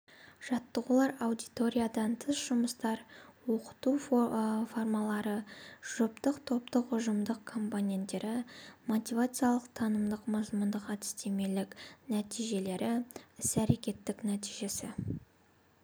жаттығулар аудиториядан тыс жұмыстар оқыту формалары жұптық топтық ұжымдық компоненттері мотивациялық-танымдық мазмұндық-әдістемелік нәтижелі іс-әрекеттік нәтижесі